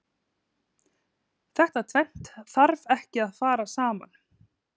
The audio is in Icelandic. Þetta tvennt þarf ekki að fara saman.